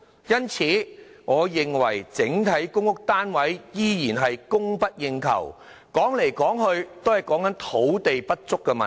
因此，我認為整體公屋單位依然供不應求，說到底也是土地不足問題。